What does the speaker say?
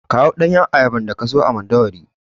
Kawo ɗanyun ayabar daka siyo a Mandawari.